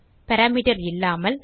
parameter இல்லாமல்